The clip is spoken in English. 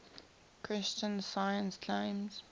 christian science claims